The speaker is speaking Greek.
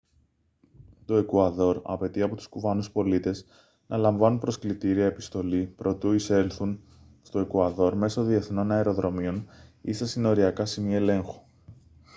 το εκουαδόρ απαιτεί από τους κουβανούς πολίτες να λαμβάνουν προσκλητήρια επιστολή προτού εισέλθουν στο εκουαδόρ μέσω διεθνών αεροδρομίων ή στα συνοριακά σημεία ελέγχου